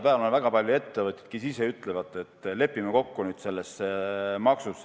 Praegu on väga palju ettevõtteid, kes ütlevad, et lepime nüüd selles maksus kokku.